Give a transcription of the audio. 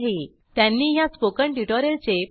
त्यांनी ह्या स्पोकन ट्युटोरियलचे प्रमाणिकरणही केले आहे